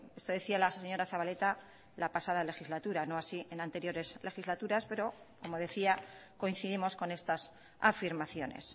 esto decía la señora zabaleta la pasada legislatura no así en anteriores legislaturas pero como decía coincidimos con estas afirmaciones